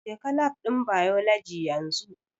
Jeka Lab ɗin Biology yanzu!